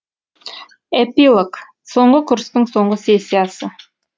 эпилог соңғы курстың соңғы сессиясы